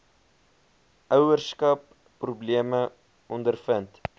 ouerskap probleme ondervind